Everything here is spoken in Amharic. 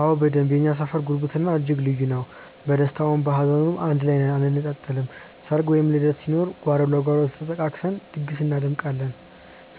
አዎ በደንብ የእኛ ሰፈር ጉርብትናው እጅግ ልዩ ነው። በደስታውም በሀዘኑም አንድ ላይ ነን አንነጣጠልም። ሰርግ ወይም ልደት ሲኖር ጓሮ ለጓሮ ተጠቃቅሰን ድግስ እናደምቃለን፤